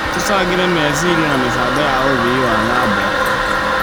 Tũcangĩre meciria na mĩbango ya ũthii wa na mbere.